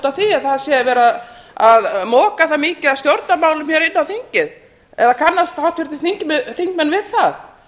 af því að það sé verið að moka það mikið af stjórnarmálum hér inn á þingið eða kannast háttvirtir þingmenn við það